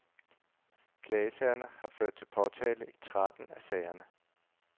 Klagesagerne har ført til påtale i tretten af sagerne.